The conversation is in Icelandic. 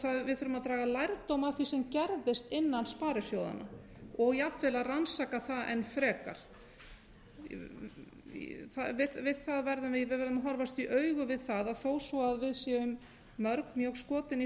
við þurfum að draga lærdóm af því sem gerðist innan sparisjóðanna og jafnvel að rannsaka það enn frekar við verðum að horfast í augu við það að þó svo við séum mörg mjög skotin í